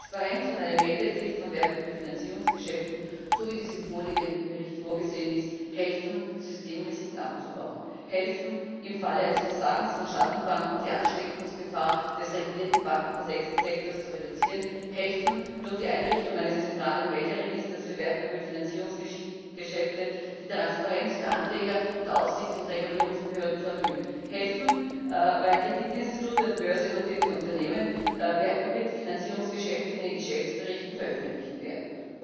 Mehr Transparenz und eine Meldepflicht von Wertpapierfinanzierungsgeschäften so wie dies im vorliegenden Bericht vorgesehen ist, helfen Systemrisiken abzubauen, helfen, im Falle eines Versagens von Schattenbanken die Ansteckungsgefahr des regulierten Bankensektors zu reduzieren, helfen durch die Einrichtung eines zentralen Melderegisters für Wertpapierfinanzierungsgeschäfte, die Transparenz für Anleger und Aufsichts und Regulierungsbehörden zu erhöhen, helfen, weil Kreditinstitute und börsennotierte Unternehmen Wertpapierfinanzierungsgeschäfte in den Geschäftsberichten veröffentlichen werden.